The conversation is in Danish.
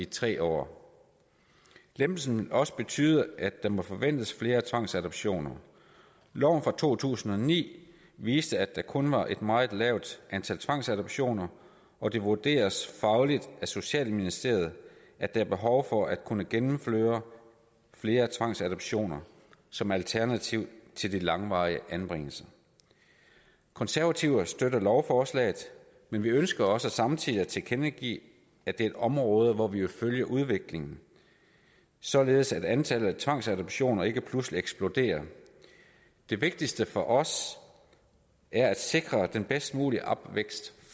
tre år lempelsen vil også betyde at der må forventes flere tvangsadoptioner loven fra to tusind og ni viste at der kun var et meget lavt antal tvangsadoptioner og det vurderes fagligt af socialministeriet at der er behov for at kunne gennemføre flere tvangsadoptioner som alternativ til de langvarige anbringelser de konservative støtter lovforslaget men vi ønsker også samtidig at tilkendegive at det er et område hvor vi vil følge udviklingen således at antallet af tvangsadoptioner ikke pludselig eksploderer det vigtigste for os er at sikre den bedst mulige opvækst